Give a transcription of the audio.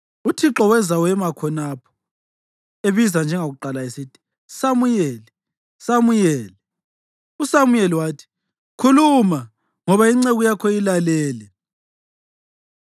Uthixo weza wema khonapho, ebiza njengakuqala esithi, “Samuyeli! Samuyeli!” USamuyeli wathi, “Khuluma, ngoba inceku yakho ilalele.”